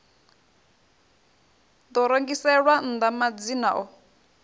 ḓo rengiselwa nnḓa madzina o